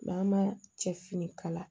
Maa ma cɛ fini kala